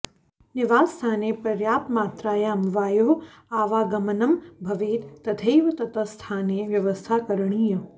निवासस्थाने पर्याप्तमात्रायां वायोः आवागमनं भवेत् तथैव तत्स्थाने व्यवस्था करणीया